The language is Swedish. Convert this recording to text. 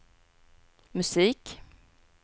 musik